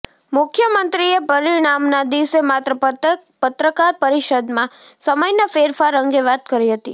મુખ્યમંત્રીએ પરિણામના દિવસે માત્ર પત્રકાર પરિષદમાં સમયના ફેરફાર અંગે વાત કરી હતી